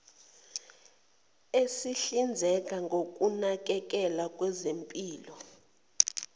esihlinzeka ngokunakekelwa kwezempilo